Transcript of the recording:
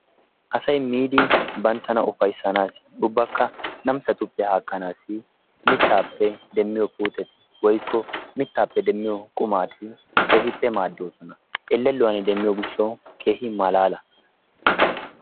Asay miidi banttana ufayissanaassi ubbakka namisatuppe haakkanaassi mittaappe demmiyo puuteti woykko mittaappe demmiyo qumati keehippe maaddoosona. Ellelluwan demiyo gishshawu keehi malaala.